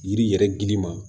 Yiri yɛrɛ gili ma